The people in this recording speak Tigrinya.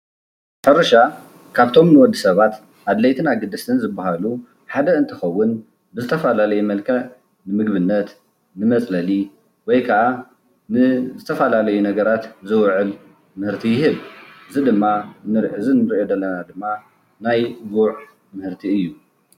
ሕርሻ ካብቶም ንወዲ ሰባት አድለይትን አገደስትን ዝበሃሉ ሓደ እንትኸውን፤ ብዝተፈላለየ መልክዕ ንምግቢነት፣ ንመፅለሊ ወይ ከአ ንዝተፈላለዩ ነገራት ዝውዕል ምህርቲ ይህብ፡፡ እዚ ንሪኦ ዘለና ድማ ናይ ጉዕ ምህርቲ እዩ፡፡